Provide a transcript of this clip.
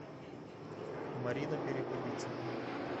марина перепелица